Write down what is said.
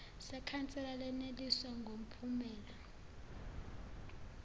sekhansela leneliswa ngumphumela